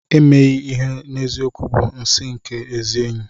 Emeghị ihe n'eziokwu bụ nsị nke ezi enyi.